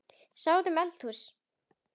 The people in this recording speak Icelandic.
Ég sá út um eldhús